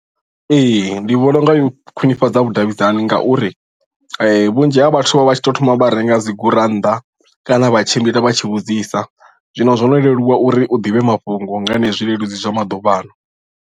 Ee ndi vhona unga yo khwinifhadza vhudavhidzani ngauri vhunzhi ha vhathu vha vha tshi to thoma vha renga dzi gurannḓa kana vha tshimbila vha tshi vhudzisa zwino zwo no leluwa uri u ḓivhe mafhungo nga henezwi zwileludzi zwa maḓuvhaano.